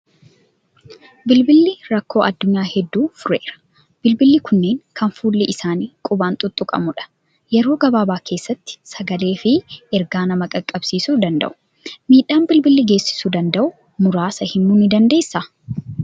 Bilbilli rakkoo addunyaa hedduu fureera. Bilbilli kunneen kan fuulli isaanii qubaan tuttuqamu dha. Yeroo gabaabaa keessatti sagalee fi ergaa nama qaqqabsiisuu danda'u. Miidhaa bilbilli geessisuu danda'u muraasa himuu ni dandeessaa?